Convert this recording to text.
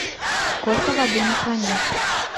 сколько воды на планете